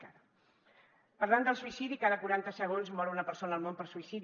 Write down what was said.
parlant del suïcidi cada quaranta segons mor una persona al món per suïcidi